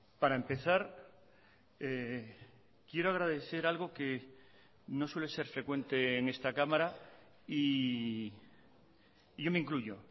para empezar quiero agradecer algo que no suele ser frecuente en esta cámara y yo me incluyo